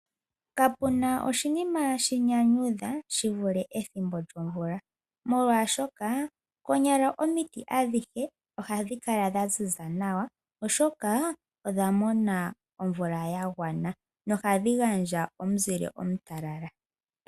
Kapuna oshinima shi nyanyudha shi vule ethimbo lyomvula. Molwaashoka konyala omiti adhihe ohadhi kala dha ziza nawa oshoka odha mona omvula ya gwana nohadhi gandja omuzile omutalala.